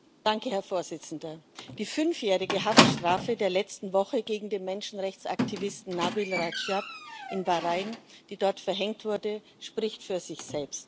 Herr Präsident! Die fünfjährige Haftstrafe der letzten Woche gegen den Menschenrechtsaktivisten Nabil Radschab in Bahrain, die dort verhängt wurde, spricht für sich selbst.